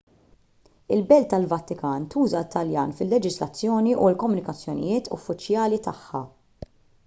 il-belt tal-vatikan tuża t-taljan fil-leġiżlazzjoni u l-komunikazzjonijiet uffiċjali tagħha